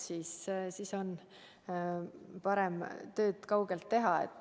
Siis on parem tööd kaugelt teha.